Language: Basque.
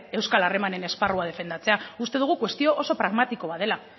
euskal harremanen esparrua defendatzea uste dugu kuestio oso pragmatiko bat dela